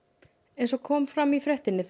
eins og kom fram í fréttinni